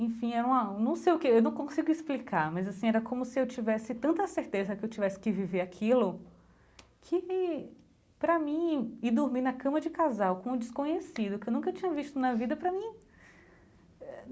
Enfim era uma, não sei o que, eu não consigo explicar, mas assim, era como se eu tivesse tanta certeza que eu tivesse que viver aquilo, que, para mim, ir dormir na cama de casal com um desconhecido, que eu nunca tinha visto na vida para mim eh.